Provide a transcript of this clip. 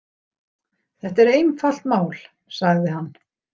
Þetta er einfalt mál, sagði hann.